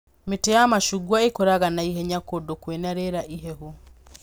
Mĩtĩ ya macungwa ĩkũraga na ihenya kũndũ kwĩna rĩera ihehu